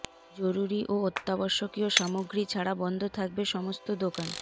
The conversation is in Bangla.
জরুরি ও অত্যাবশ্যকীয় সামগ্রী ছাড়া বন্ধ থাকবে সমস্ত দোকান